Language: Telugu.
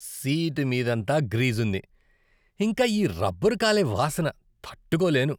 సీటు మీదంతా గ్రీజుంది, ఇంకా ఈ రబ్బరు కాలే వాసన తట్టుకోలేను.